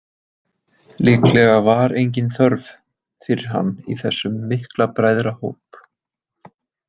Líklega var engin þörf fyrir hann í þessum mikla bræðrahóp.